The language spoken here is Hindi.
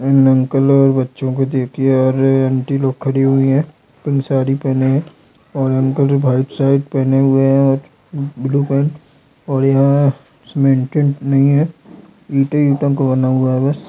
इन अंकल और बच्चों को देखिये और ये आंटी लोग खड़ी हुई हैं पिक साड़ी पहने है और अंकल ने व्हाइट शर्ट पहने हुए हैं और ब ब्लू पैन्ट और यहाँ सीमेंटेड नहीं है इटे ईटों का बना हुआ है बस।